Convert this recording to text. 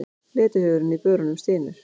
Letihaugurinn í börunum stynur.